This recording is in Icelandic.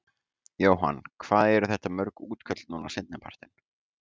Jóhann: Hvað eru þetta mörg útköll núna seinni partinn?